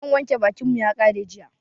Man wanke bakin mu ya ƙare jiya